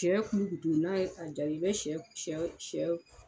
Shɛ kulukutu n'a ye a jaabi i bɛ shɛ shɛ shɛ